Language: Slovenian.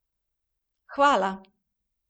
Hvala!